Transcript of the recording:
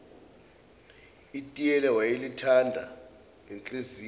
itiye wayelithanda ngenhliziyo